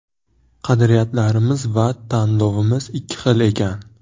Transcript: Qadriyatlarimiz va tanlovimiz ikki xil ekan.